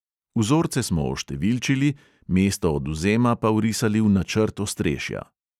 Vzorce smo oštevilčili, mesto odvzema pa vrisali v načrt ostrešja.